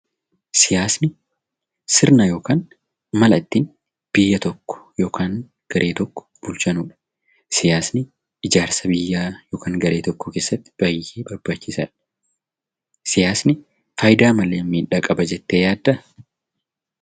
Siyaasni sirna yookiin mala ittiin biyya tokko yookiin garee tokko ittiinn bulchanidha. Siyaasni ijaarsa biyya yookiin garee tokkoo keessatti gahee guddaa qaba.